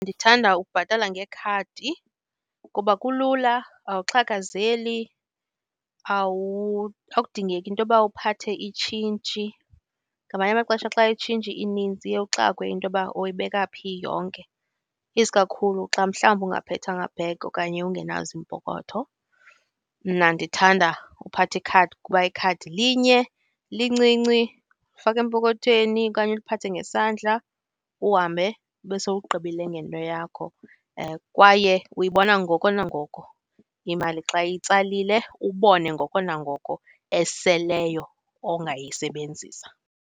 Ndithanda ukubhatala ngekhadi kukuba kulula, awuxhakazeli, akudingeki into uba uphathe itshintshi. Ngamanye amaxesha xa itshintshi inintsi uye uxakwe into yoba oyibeka phi yonke, iskakhulu xa mhlawumbi ungaphethanga bhegi okanye ungenazo iimpokoto. Mna ndithanda uphatha ikhadi kuba ikhadi linye, lincinci, faka empokothweni okanye uliphathe ngesandla, uhambe, ube sowugqibile ngento yakho, kwaye uyibona ngoko nangoko imali xa itsalile, ubone ngoko nangoko eseleyo ongayisebenzisa.